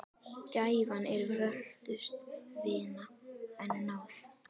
Gæfan er völtust vina, en náð